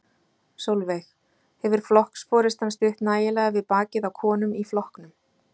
Sólveig: Hefur flokksforystan stutt nægilega við bakið á konum í flokknum?